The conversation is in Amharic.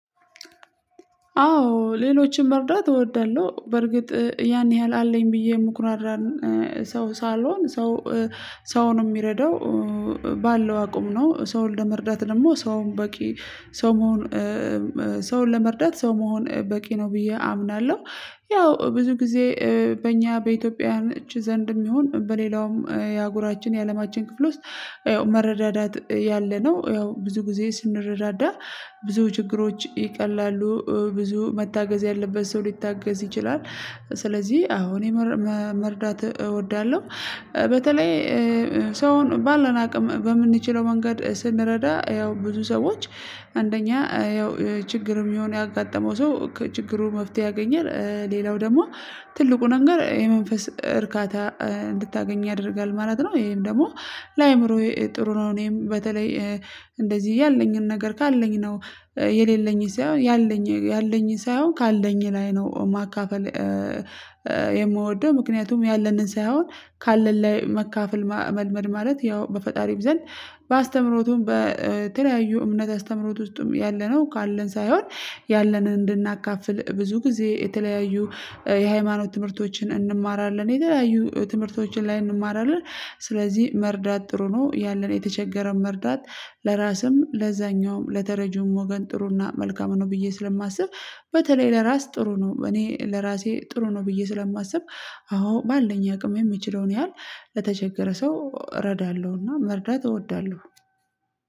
አዎ ሌሎችን መርዳት እወዳለሁ። በርግጥ ያን ያህል አለኝ ብዬ የምኩራራን ሰው ሳሎን ሰው ሰውን የሚረዳው ባለው አቁም ነው። ሰው ለመርዳት ደግሞ ሰውም በቂ ሰው መሆን ሰውን ለመርዳት ሰው መሆን በቂ ነው ብዬ አምናለሁ። ያው ብዙ ጊዜ በእኛ በኢትዮጵያ እጅ ዘንድም ይሁን በሌላውም የአጉራችን የአለማችን ክፍል ውስጥ ያው መረዳዳት ያለነው ያው ብዙ ጊዜ ስንረዳዳ ብዙ ችግሮች ይቀላሉ። ብዙ መታገዝ ያለበት ሰው ሊታገዝ ይችላል። ስለዚህ አሁን መርዳት እወዳለሁ። በተለይ ሰውን ባለን አቅም በምንችለው መንገድ ስንረዳ ያው ብዙ ሰዎች አንደኛ ያው ችግርም የሆነ ያጋጠመው ሰው ችግሩ መፍትሄ ያገኘል ሌላው ደግሞ ትልቁ ነገር የመንፈስ እርካታ እንድታገኝ ያደርጋል ማለት ነው። ይሄም ደግሞ ለአእምሮዬ ጥሩ ነው። እኔም በተለይ እንደዚህ ያለኝን ነገር ካለኝ ነው የሌለኝን ሳይሆን ያለኝ ያለኝን ሳይሆን ካለኝ ላይ ነው ማካፈል። የምወደው ምክንያቱም ያለንን ሳይሆን ካለን ላይ መካፈል መልመድ ማለት ያው በፈጣሪም ዘንድ በአስተምህሮቱም በተለያዩ እምነት አስተምህሮት ውስጥም ያለነው ካለን ሳይሆን ያለንን እንድናካፍል ብዙ ጊዜ የተለያዩ የሃይማኖት ትምህርቶችን እንማራለን የተለያዩ ትምህርቶችን ላይ እንማራለን። ስለዚህ መርዳት ጥሩ ነው ያለን የተቸገረን መርዳት ለራስም ለዛኛውም ለተረጁም ወገን ጥሩና መልካም ነው ብዬ ስለማስብ። በተለይ ለራስ ጥሩ ነው እኔ ለራሴ ጥሩ ነው ብዬ ስለማስብ። አዎ ባለን ያውቅም የምችለውን ያህል ለተቸገረ ሰው እረዳለሁና መርዳት እወዳለሁ።